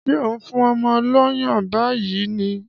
Ṣé ò ń fún ọmọ lọ́yàn báyìí ni?